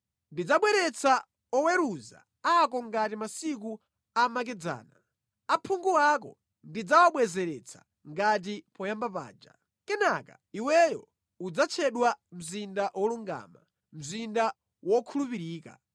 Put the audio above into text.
Ndidzabwezeretsa oweruza ako ngati masiku amakedzana, aphungu ako ndidzawabwezeretsa ngati poyamba paja. Kenaka iweyo udzatchedwa mzinda wolungama, mzinda wokhulupirika.”